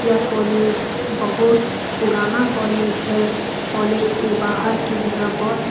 यह कॉलेज बहुत पुराना कॉलेज है कॉलेज के बाहर के जगह बहोत सु --